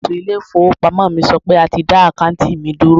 Alákòóso ilé ìfowópamọ́ mi sọ pé a ti dá àkáùntì mi dúró.